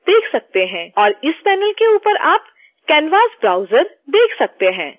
और इस पैनल के ऊपर आप canvas browser देख सकते हैं